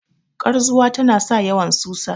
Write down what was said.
karzuwa tana sa yawan susa